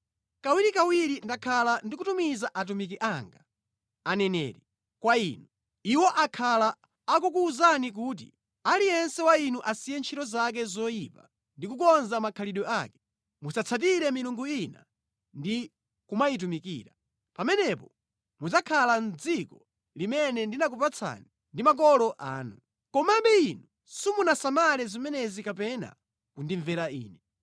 Kawirikawiri ndakhala ndikutumiza atumiki anga, aneneri, kwa inu. Iwo akhala akukuwuzani kuti, ‘Aliyense wa inu asiye ntchito zake zoyipa ndi kukonza makhalidwe ake; musatsatire milungu ina ndi kumayitumikira. Pamenepo mudzakhala mʼdziko limene ndinakupatsani ndi makolo anu.’ Komabe inu simunasamale zimenezi kapena kundimvera Ine.